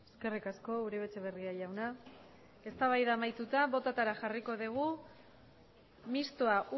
eskerrik asko uribe etxebarria jauna eztabaida amaituta bototara jarriko dugu mistoa